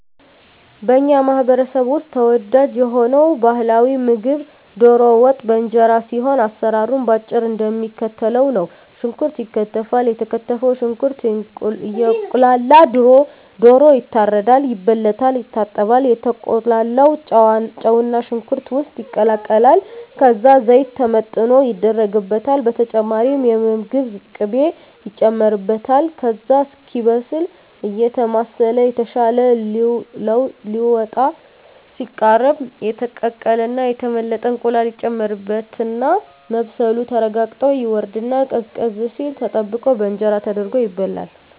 በኛ ማህበረሰብ ውስጥ ተወዳጅ የሆነው ባህላዊ ምግብ ደሮ ወጥ በእንጀራ ሲሆን አሰራሩም በአጭሩ እደሚከተለው ነው። ሽንኩርት ይከተፋል የተከተፈው ሽንኩርት እየቁላላ ደሮ ይታረዳል፣ ይበለታል፣ ይታጠባል፣ ከተቁላላው ጨውና ሽንኩርት ውስጥ ይቀላቀላል ከዛ ዘይት ተመጥኖ ይደረግበታል በተጨማሪም የምግብ ቅቤ ይጨመርበታል ከዛ እስኪበስል አየተማሰለ ይታሻል ሊወጣ ሲቃረብ የተቀቀለና የተመለጠ እንቁላል ይጨመርበትና መብሰሉ ተረጋግጦ ይወርድና ቀዝቀዝ ሲል ተጠብቆ በእንጀራ ተደርጎ ይበላል።